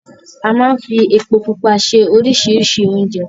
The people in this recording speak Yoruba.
A máa n fí epo Pupa ṣe oríṣiríṣi oúnjẹ